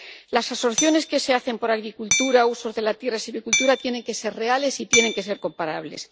Las absorciones que se hacen por agricultura, usos de la tierra y silvicultura tienen que ser reales y tienen que ser comparables.